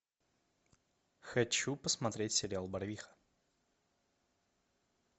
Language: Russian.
хочу посмотреть сериал барвиха